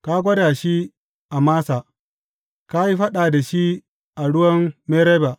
Ka gwada shi a Massa; ka yi faɗa da shi a ruwan Meriba.